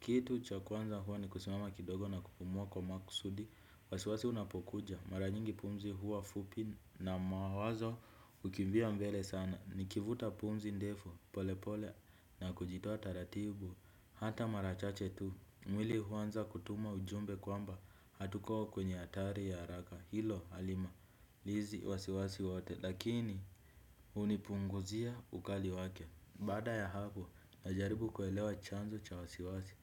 Kitu cha kwanza huwa ni kusimama kidogo na kupumua kwa makusudi. Wasiwasi unapokuja, mara nyingi pumzi huwa fupi na mawazo hukimbia mbele sana. Nikivuta pumzi ndefu, polepole na kujitoa taratibu. Hata mara chache tu, mwili huanza kutuma ujumbe kwamba hatuko kwenye hatari ya haraka. Hilo halimalizi wasiwasi wote lakini hunipunguzia ukali wake. Baada ya hapo najaribu kuelewa chanzo cha wasiwasi.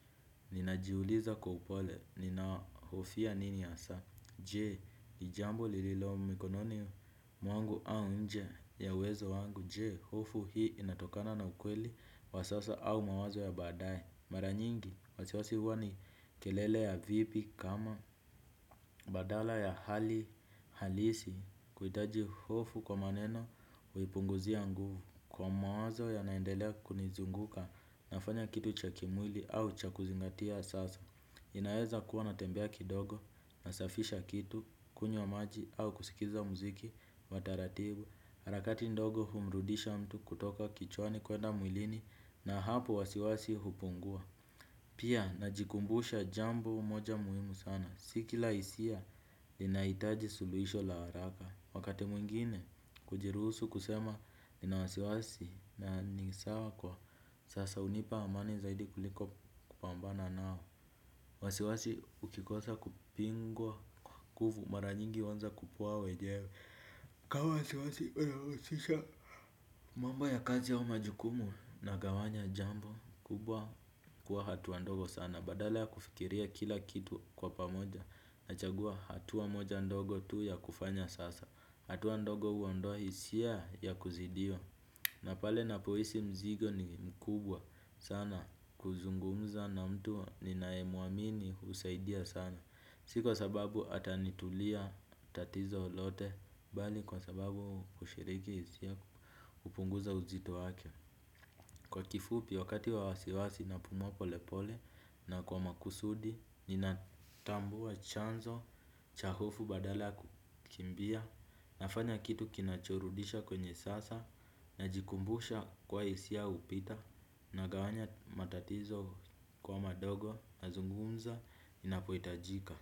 Ninajiuliza kwa upole ninahofia nini hasa. Je? Ni jambo lililo mikononi mwangu au nje ya uwezo wangu. Je? Hofu hii inatokana na ukweli wa sasa au mawazo ya baadae. Mara nyingi, wasiwasi huwa ni kelele ya vipi kama badala ya hali halisi kuhitaji hofu kwa maneno huipunguzia nguvu. Kwa mawazo yanaendelea kunizunguka nafanya kitu cha kimwili au cha kuzingatia sasa. Inaweza kuwa natembea kidogo, nasafisha kitu, kunywa maji au kusikiliza muziki wa taratibu. Harakati ndogo humrudisha mtu kutoka kichwani kwenda mwilini na hapo wasiwasi hupungua. Pia najikumbusha jambo moja muhimu sana. Si kila hisia inahitaji suluhisho la haraka. Wakati mwingine kujiruhusu kusema nina wasiwasi na ni sawa kwa sasa hunipa amani zaidi kuliko kupambana nao. Wasiwasi ukikosa kupingwa kwa nguvu mara nyingi huanza kupoa wenyewe. Kama wasiwasi unawazisha. Mambo ya kazi au majukumu nagawanya jambo kubwa kuwa hatua ndogo sana. Badala ya kufikiria kila kitu kwa pamoja na chagua hatua moja ndogo tu ya kufanya sasa. Hatua ndogo huondoa hisia ya kuzidiwa. Na pale napohisi mzigo ni mkubwa sana kuzungumza na mtu ninae mwamini husaidia sana si kwasababu atanitulia tatizo lote bali kwa sababu kushiriki hisia kupunguza uzito wake. Kwa kifupi wakati wa wasiwasi napumua polepole na kwa makusudi. Ninatambua chanzo, cha hofu badala kukimbia. Nafanya kitu kinachorudisha kwenye sasa. Najikumbusha kuwa hisia hupita. Nagawanya matatizo kuwa madogo nazungumza inapohitajika.